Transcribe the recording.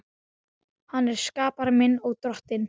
Hann er skapari minn og Drottinn.